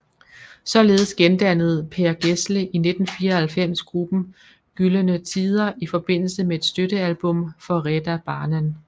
Således gendannede Per Gessle i 1994 gruppen Gyllene Tider i forbindelse med et støttealbum for Rädda Barnen